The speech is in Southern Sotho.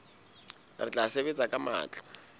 re tla sebetsa ka matla